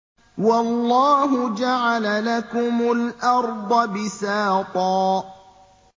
وَاللَّهُ جَعَلَ لَكُمُ الْأَرْضَ بِسَاطًا